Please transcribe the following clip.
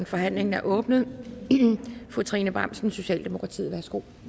forhandlingen er åbnet fru trine bramsen socialdemokratiet værsgo